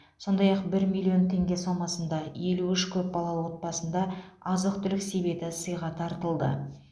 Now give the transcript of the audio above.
сондай ақ бір миллион теңге сомасында елу үш көп балалы отбасында азық түлік себеті сыйға тартылды